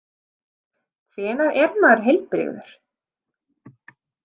Hvenær er maður heilbrigður?